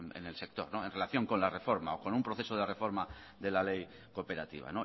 en el sector en relación con la reforma o con un proceso de reforma de la ley cooperativa